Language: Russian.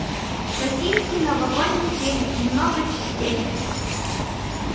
российский новогодний фильм много частей